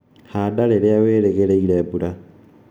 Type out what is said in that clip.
Handa rĩrĩa wĩrĩgĩire mbura